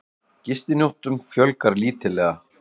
Gistinóttum fjölgar lítillega